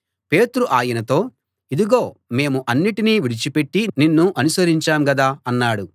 పేతురు ఆయనతో ఇదిగో మేము అన్నిటినీ విడిచిపెట్టి నిన్ను అనుసరించాం గదా అన్నాడు